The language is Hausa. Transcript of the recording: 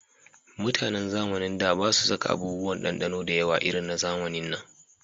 Mutanen zamanin da ba su saka abubuwan dandano da yawa irin na zamanin nan